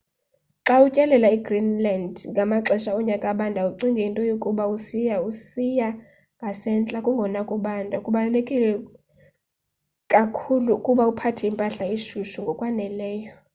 xa utyelela igreenland ngamaxesha onyaka abandayo ucinge into yokuba xa usiya usiya ngasentla kungona kubanda kubaluleke kakhulu ukuba uphathe impahla eshushu ngokwaneleyo